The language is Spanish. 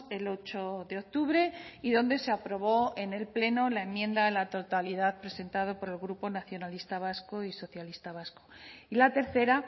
el ocho de octubre y donde se aprobó en el pleno la enmienda a la totalidad presentada por el grupo nacionalista vasco y socialista vasco y la tercera